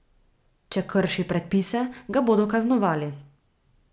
Če krši predpise, ga bodo kaznovali.